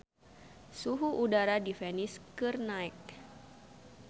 Suhu udara di Venice keur naek